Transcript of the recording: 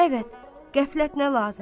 Əbəd, qəflət nə lazım?